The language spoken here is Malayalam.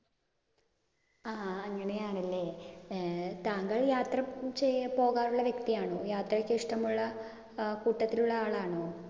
ആഹ് അങ്ങിനെയാണല്ലേ? ഏർ താങ്കൾ യാത്ര പോകാറുള്ള വ്യക്തിയാണോ? യാത്രക്ക് ഇഷ്ടമുള്ള ഏർ കൂട്ടത്തിലുള്ള ആളാണോ?